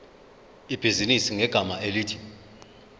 ibhizinisi ngegama elithi